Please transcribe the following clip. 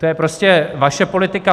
To je prostě vaše politika.